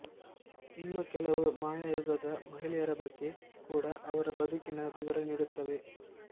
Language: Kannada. ಇನ್ನೂ ಕೆಲವು ಮಾಯಾ ಯುಗದ ಮಹಿಳೆಯರ ಬಗ್ಗೆ ಕೂಡ ಅವರ ಬದುಕಿನ ವಿವರ ನೀಡುತ್ತವೆ